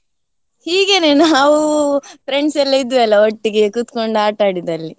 ಹೀಗೆನೆ ನಾವು friends ಎಲ್ಲ ಇದ್ವೆಲ್ಲ ಒಟ್ಟಿಗೆ ಕೂತ್ಕೊಂಡು ಆಟ ಆಡಿದ್ದು ಅಲ್ಲಿ.